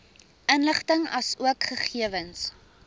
inligting asook gegewens